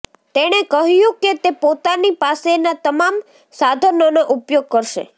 તેણે કહ્યું કે તે પોતાની પાસેનાં તમામ સાધનોનો ઉપયોગ કરશે